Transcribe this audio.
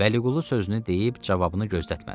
Vəliqulu sözünü deyib cavabını gözlətmədi.